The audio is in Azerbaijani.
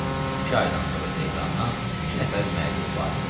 İki aydan sonra Tehrandan iki nəfər müəllim varid olur.